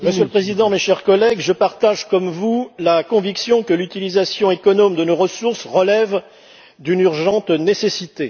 Monsieur le Président, mes chers collègues, je partage comme vous la conviction que l'utilisation économe de nos ressources relève d'une urgente nécessité.